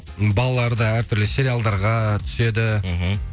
балалар да әртүрлі сериалдарға түседі мхм